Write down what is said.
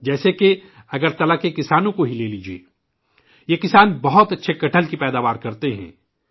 جیسے کہ اگرتلہ کے کسانوں کو ہی لیجئے ! یہ کسان بہت اچھے کٹہل کی پیداوار کرتے ہیں